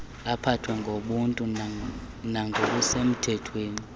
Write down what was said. aphathwe ngobuntu nangokusemthethweni